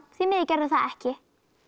því miður gerðirðu það ekki